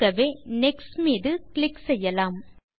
ஆகவே நெக்ஸ்ட் மீது கிளிக் செய்வோம்